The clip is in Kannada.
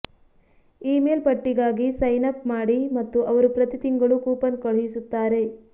ಇಮೇಲ್ ಪಟ್ಟಿಗಾಗಿ ಸೈನ್ ಅಪ್ ಮಾಡಿ ಮತ್ತು ಅವರು ಪ್ರತಿ ತಿಂಗಳು ಕೂಪನ್ ಕಳುಹಿಸುತ್ತಾರೆ